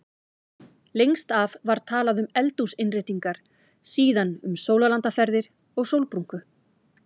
Lengst af var talað um eldhúsinnréttingar, síðan um sólarlandaferðir og sólbrúnku.